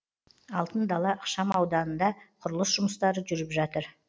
алтын дала ықшамауданында құрылыс жұмыстары жүріп жатыр